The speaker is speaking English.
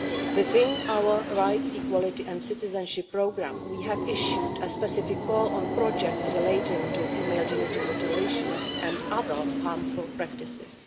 Within our rights, equality and citizenship programme we have issued a specific call on projects relating to female genital mutilation and other harmful practices.